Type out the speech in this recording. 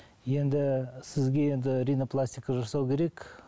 енді сізге енді ринопластика жасау керек